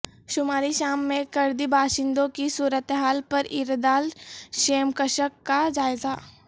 شمالی شام میں کردی باشندوں کی صورتحال پر ایردال شیمکشک کا جائزہ